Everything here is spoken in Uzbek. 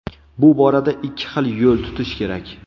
Bu borada ikki xil yo‘l tutish kerak.